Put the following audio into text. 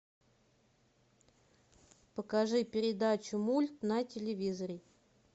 покажи передачу мульт на телевизоре